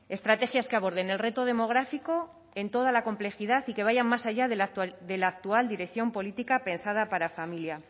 estrategias que aborden el reto demográfico en toda la complejidad y que vayan más allá de la actual dirección política pensada para familia